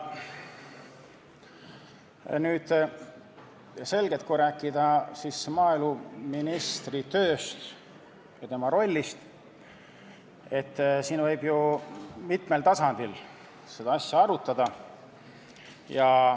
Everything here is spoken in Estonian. On selge, et kui rääkida maaeluministri tööst ja tema rollist, siis võib ju mitmel tasandil seda asja arutada.